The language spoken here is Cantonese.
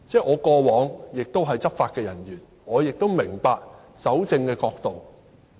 我過往曾是執法人員，我明白蒐證的角度。